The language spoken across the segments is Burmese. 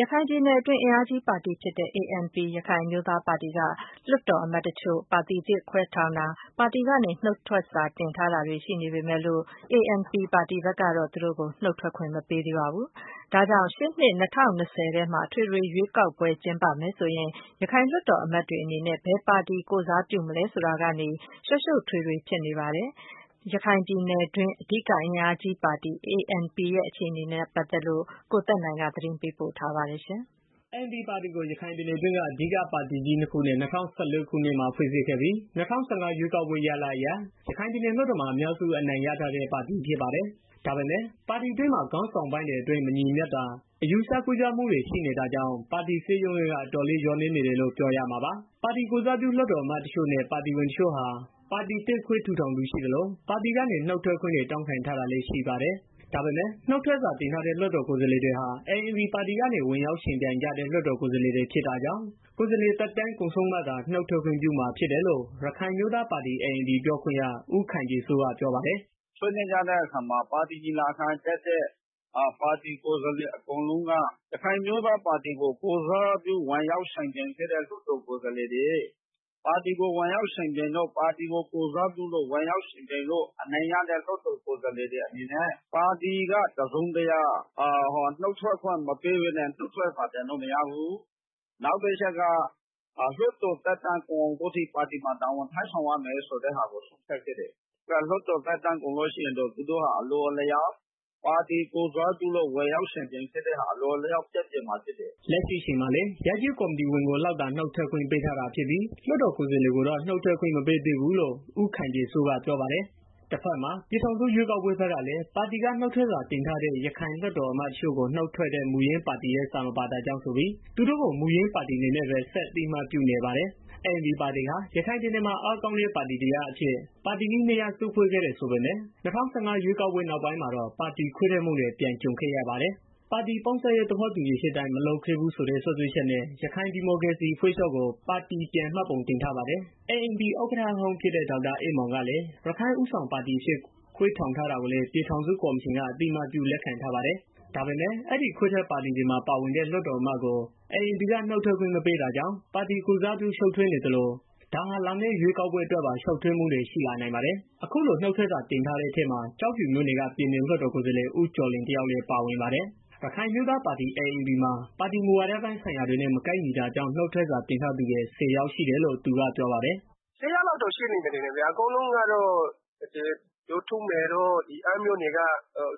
ရခိုင်ပြည်နယ်တွင်း အင်အားကြီးပါတီဖြစ်တဲ့ ANP ရခိုင်အမျိုးသားပါတီက လွှတ်တော်အမတ်အချို့ ပါတီသစ်ခွဲထောင်တာတွေ ပါတီနုတ်ထွက်စာတင်ထားတာတွေ ရှိနေပေမယ့်လို့ ANP ပါတီကတော့ သူတို့ကို နုတ်ထွက်ခွင့်မပေးသေးပါဘူး။ ဒါကြောင့် ရှေ့နှစ် ၂၀၂၀ ထဲမှာ အထွေထွေရွေးကောက်ပွဲကျင်းပမယ်ဆိုရင် ရခိုင်လွှတ်တော်အမတ်တွေအနေနဲ့ ဘယ်ပါတီကိုယ်စားပြုမလဲဆိုတာ ရှုပ်ထွေးမှုတွေကြုံနေရပါတယ်။ ရခိုင်ပြည်နယ်တွင်း အဓိက အင်အားကြီးပါတီ ANP ရဲ့ အခြေအနေနဲ့ပတ်သက်လို့ ကိုသက်နိုင် သတင်းပေးပို့ထားပါတယ်။ ANP ပါတီကို ရခိုင်ပြည်နယ်တွင်းက အဓိက ပါတီကြီးနှစ်ခုနဲ့ ၂၀၁၄ ခုနှစ်မှာ ဖွဲ့စည်းခဲ့ပြီး၊ ၂၀၁၅ ရွေးကောက်ပွဲရလဒ်အရ ရခိုင်ပြည်နယ်လွှတ်တော်မှာ အများစုအနိုင်ရထားတဲ့ ပါတီဖြစ်ပါတယ်။ ဒါပေမယ့် ပါတီတွင်းမှာ ခေါင်းဆောင်ပိုင်းတွေအတွင်း မညီညွတ်တာ၊ အယူအဆ ကွဲပြားမှုတွေရှိတာကြောင့် ပါတီစည်းလုံးရေးက အတော်လေး လျောရဲနေတယ်လို့ ပြောရမှာပါ။ ပါတီကိုယ်စားပြု လွှတ်တော်အမတ်အချို့နဲ့ ပါတီဝင်အချို့ဟာ ပါတီသစ်ခွဲထောင်သူ ရှိသလို ပါတီကနေ နုတ်ထွက်ခွင့်တွေ တောင်းခံ ထားတာလည်းရှိပါတယ်။ ဒါပေမယ့် နုတ်ထွတ်စာတင်ထားတဲ့ လွတ်တော်ကိုယ်စားလှယ်တွေဟာ ANP ပါတီကနေ ဝင်ရောက် ယှဉ်ပြိုင်ထားကြတဲ့ လွတ်တော်ကိုယ်စားလှယ်တွေ ဖြစ်တာကြောင့် ကိုယ်စားလှယ်သက်တမ်း ကုန်ဆုံးမှသာ နုတ်ထွက်ပြုမှာ ဖြစ်တယ်လို့ ရခိုင်အမျိုးသားပါတီ (ANP) ပြောခွင့်ရ ဦးခိုင်ပြည်စိုးရ ပြောပါတယ်။ “ဆွေးနွေးကြတဲ့အခါမှာ ပါတီညီလာခံတက်တဲ့ ကိုယ်စားလှယ် အကုန်လုံးက ရခိုင်အမျိုးသား ပါတီကို ကိုယ်စားပြု ဝင်ရောက်ယှဉ်ပြိုင်ခဲ့တဲ့ လွတ်တော်ကိုယ်စားလှယ်တွေ ပါတီကို ကိုယ်စားပြုလို့ ဝင်ရောက်ယှဉ်ပြိုင်တဲ့ လွတ်တော်ကိုယ်စားလှယ်တွေ အနေနဲ့ ပါတီက တစ်စုံတစ်ရာ နုတ်ထွက်ခွင့် မပေးပဲနဲ့ နုတ်ထွက်စာ တင်လို့မရဘူး။ နောက်တစ်ချက်က လွတ်တော်သက်တမ်းကုန်တဲ့ အထိပါတီမှာ တာဝန်ထမ်းဆောင်ရမယ့်ဆိုပြီးတော့ ဆုံးဖြတ်ခဲ့တယ်။ လွတ်တော်သက်တမ်း ကုန်ရင်တော့ သူတို့ဟာ အလိုအလျောက် ပါတီကိုယ်စားပြု ဝင်ရောက်ယှဉ်ပြိုင်ခဲ့တာဟာ အလိုအလျောက် ပျက်ပျယ် သွားမှာဖြစ်တယ်။” လက်ရှိအချိန်မှာလည်း ရပ်ကျေးကော်မတီဝင်တွေကို လောက်သာနုတ်ထွက်ခွင့် ပေးထားပြီး လွတ်တော်ကိုယ်စားတွေကိုတော့ နုတ်ခွင့်မပေး သေးဘူးလို့ ဦးခိုင်ပြည်စိုးကပြောပါတယ်။ တဖက်မှာ ပြည်ထောင်စုရွေးကောက်ပွဲကလည်း ပါတီက နုတ်ထွက်စာတင်ထားတဲ့ ရခိုင်လွှတ်တော်အမတ်အချို့ကို နုတ်ထွက်တဲ့ မူရင်းပါတီရဲ့စာမပါတာကြောင့်ဆိုပြီး သူတို့ကို မူရင်းပါတီအနေနဲ့ပဲ ဆက်အသိအမှတ်ပြုနေပါတယ်။ ANP ပါတီဟာ ရခိုင်ပြည်နယ်မှာ အားကောင်းတဲ့ပါတီတရပ်အဖြစ် ပါတီကြီးနှစ်ရပ်စုဖွဲ့ခဲ့တယ်ဆိုပေမယ့် ၂၀၁၅ ရွေးကောက်ပွဲနောက်ပိုင်းမှာတော့ ပါတီခွဲထွက်မှုတွေ ပြန်ကြုံခဲ့ပါတယ်။ ပါတီပေါင်းစပ်ရေး သဘောတူညီချက် အတိုင်း မလုပ်ခဲ့ဘူးဆိုတဲ့ စွဲချက်နဲ့ ရခိုင်ဒီမိုကရေစီအဖွဲ့ချု့ပ်ကို ပါတီပြန်မှတ်ပုံတင်ထားပါတယ်။ ANP ဥက္ကဌဟောင်းဖြစ်တဲ့ ဒေါက်တာအေးမောင်ကလည်း ရခိုင်ဦးဆောင်ပါတီအဖြစ် ခွဲထောင်ထားတာကိုလည်း ပြည်ထောင်စုကော်မရှင်က အသိအမှတ်ပြု လက်ခံထားပါတယ်။ ဒါပေမယ့် အဲဒီခွဲထွက်ပါတီတွေမှာ ပါဝင်တဲ့ လွှတ်တော်အမတ်တွေကို ANP က နုတ်ထွက်ခွင့်ပေးမထားတာကြောင့် ပါတီကိုယ်စားပြုမှု ရှုပ်ထွေးနေသလို၊ ဒါဟာ လာမယ့် ရွေးကောက်ပွဲအတွက်ပါ ရှုပ်ထွေးမှုတွေရှိလာနိုင်ပါတယ်။ အခုလိုနုတ်ထွက်စာတင်ထားတဲ့ ထဲမှာ ကျောက်ဖြူမြို့နယ်က ပြည်နယ်လွတ်တော် ကိုယ်စားလှယ် ဦးကျော်လွင်တစ်ယောက် လည်းပါဝင်ပါတယ်။ ရခိုင်အမျိုးသားပါတီ ANP မှာ ပါတီမှုဝါဒပိုင်းဆိုင်ရာတွေနဲ့မကိုက်ညီတာကြောင့် နုတ်ထွက်စာတင်ထားသူတွေ ဆယ်ယောက်ရှိတယ်လို့ သူက ပြောပါတယ်။ “၁၀ယောက်ရှိမယ်ထင်တယ် အကုန်လုံးကတော့ကျနော်သိသလောက်ဆိုရင် ဒေါ်ထုမေတို့ အမ်းမြို့နယ်က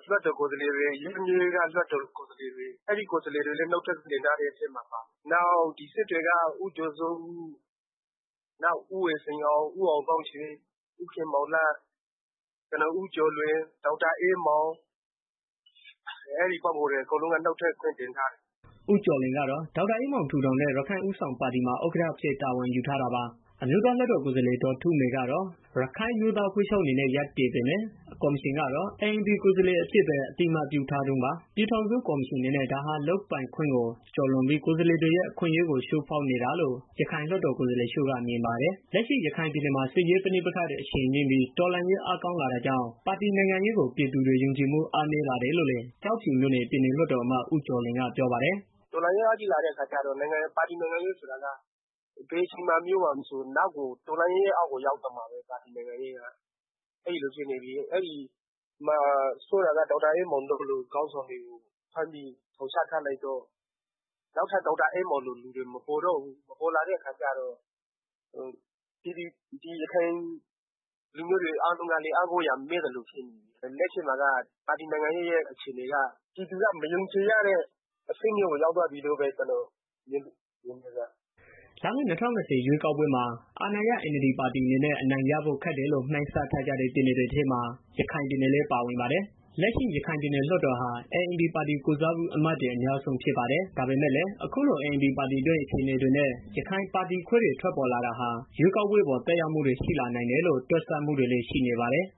လွတ်တော်ကိုယ်စားလှယ်တွေ ရမ်းဗြဲက လွတ်တော်ကိုယ်စားလှယ်တွေ အဲဒီကိုယ်စားလှယ်တွေလည်း နုတ်ထွက်ခွင့်တင်ထားတာထဲမှာပါတယ်။နောက်ပြီးတော့ စစ်တွေက ဦးကျော်စောဦး၊ နောက် ဦးဝေစိန်အောင်၊ နောက်ဦးအောင်သောင်းရွေ၊ ဦးခင်မောင်လတ် ကျနော် ဦးကျော်လွင် ဒေါက်တာအေးမောင်၊ အဲဒီပုဂ္ဂိုလ်တွေ အကုန်လုံးက နုတ်ထွက်ခွင့် တင်ထားကြတယ်။” ဦးကျော်လွင်ကတော့ ဒေါက်တာအေးမောင် ထူထောင်တဲ့ ရခိုင်ဦးဆောင်ပါတီမှာ ဒုဥက္ကဌအဖြစ် တာဝန်ယူထားတာပါ။ အမျိုးသားလွှတ်တော်ကိုယ်စားလှယ်ဒေါ်ထုမေကတော့ ရခိုင်အမျိုးသားအဖွဲ့ချုပ်အနေနဲ့ ရပ်တည်ပေမယ့်၊ ကော်မရှင်ကတော့ ANP ကိုယ်စားလှယ်အဖြစ်ပဲ အသိအမှတ်ပြုထားတုန်းပါ။ ပြည်ထောင်စုကော်မရှင်အနေနဲ့ ဒါဟာ လုပ်ပိုင်ခွင့်ကိုကျော်လွန်ပြီး ကိုယ်စားလှယ်တွေရဲ့ အခွင့်အရေးကို ချိုးဖောက်နေတာလို့ ရခိုင်လွှတ်တော်ကိုယ်စားလှယ်အချို့က မြင်ပါတယ်။ လက်ရှိရခိုင်ပြည်နယ်မှာစစ်ရေးပဍိပက္ခတွေ အရှိန်မြင့်ပြီး တော်လှန်ရေး အားကောင်းလာတာကြောင့်ပါတီနိုင်ငံရေးကို ပြည်သူတွေ ယုံကြည်မှုအားနည်းလာတယ်လို့လည်းကျောက်ဖြူမြို့နယ် ပြည်နယ်လွတ်တော်အမတ် ဦးကျော်လွင် ကပြောပါတယ်။ “တော်လှန်ရေး အင်အားကြီးလာရင် ပါတီနိုင်ငံရေး ဆိုတာက ဘယ်အချိန်မှာပဲ ဖြစ်ဖြစ် တော်လှန်ရေးရဲ့ အောက်ကို ရောက်သွားမှာပဲ။ ဆိုးတာက ဒေါက်တာအေးမောင်လို ခေါင်းဆောင်ကို ဖမ်းပြီးထောင် ချထားလိုက်တော့ နောက်ထပ် ဒေါက်တာအေးမောင်လို လူတွေ မပေါ်လာတော့ဘူး မပေါ်လာတဲ့ အခါကျတော့ ရခိုင်လူမျိုးတွေ အားလုံးကလည်း အားကိုးရာမေ့နေပြီ။ လက်ရှိမှာတော့ ပါတီနိုင်ငံရေးက ပြည်သူက မယုံကြည်ရတဲ့ အဆင့်မျိုးကို ရောက်သွားပြီလို့ မြင်တယ်ဗျာ။” လာမယ့် ၂၀၂၀ ရွေးကောက်ပွဲမှာ အာဏာရှ NLD ပါတီအနေနဲ့ အနိုင်ရဖို့ ခက်တယ်လို့ မှန်းဆထားတဲ့ ပြည်နယ်တွေထဲမှာ ရခိုင်ပြည်နယ်လည်း ပါဝင်ပါတယ်။ လက်ရှိ ရခိုင်ပြည်နယ်လွှတ်တော်ဟာ ANP ပါတီကိုယ်စားပြုအမတ်တွေ အများစုဖြစ်ပါတယ်။ ဒါပေမယ့်လည်း အခုလို ANP ပါတီတွင်း အခြေအနေတွေနဲ့ ရခိုင်ပါတီခွဲတွေ ထွက်ပေါ်လာတာ ရွေးကောက်ပွဲ အပေါ်သက်ရောက်မှုတွေ ရှိလာနိုင်တယ်လို့ တွက်ဆမှုတွေလည်း ရှိနေပါတယ်။